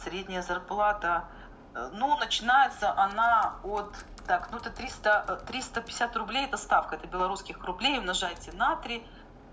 средняя зарплата ну начинается она от так ну это триста триста пятьдесят рублей это ставка это белорусских рублей умножайте на три